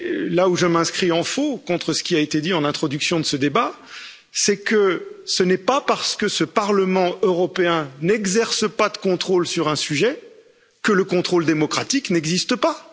Là où je m'inscris en faux contre ce qui a été dit en introduction de ce débat, c'est que ce n'est pas parce que ce Parlement européen n'exerce pas de contrôle sur un sujet, que le contrôle démocratique n'existe pas.